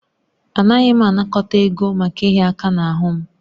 Anaghị m anakọta ego maka ịhịa aka n'ahụ m